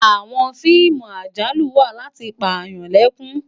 Àwòn fiimú àjálú wá làti pá yán lèkún